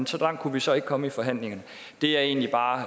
så langt kunne vi så ikke komme i forhandlingen det jeg egentlig bare